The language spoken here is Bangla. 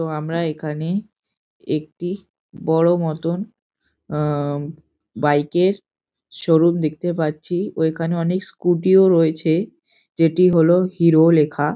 তো আমরা এখানে একটি বড় মতন আ বাইক -এর ছবি দেখতে পাচ্ছি ও এখানে অনেক স্কুটি ও রয়েছে যেটি হল হিরো লেখা।